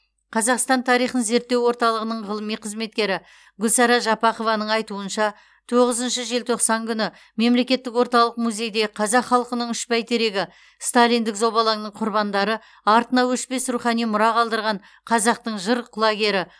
қазақстан тарихын зерттеу орталығының ғылыми қызметкері гүлсара жапақованың айтуынша тоғызыншы желтоқсан күні мемлекеттік орталық музейде қазақ халықының үш бәйтерегі сталиндік зобалаңның құрбандары артына өшпес рухани мұра қалдырған қазақтың жыр құлагері